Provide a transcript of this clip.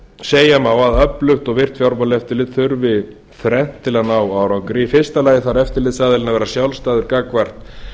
segja má að öflugt og virkt fjármálaeftirlit þurfi þrennt til að ná árangri í fyrsta lagi þarf eftirlitsaðilinn að vera sjálfstæður gagnvart